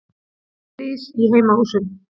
Slys í heimahúsum